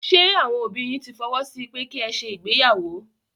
Ṣé àwọn òbí yín tí fọwọ́ sí pẹ́ ki ẹ ṣe ìgbéyàwó?